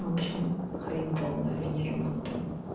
в общем хрень полная а не ремонт там